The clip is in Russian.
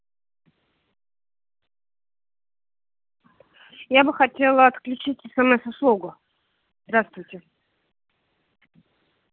я бы хотела отключить смс услугу здравствуйте